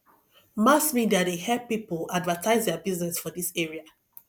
mass media dey help pipo advertise their business for dis area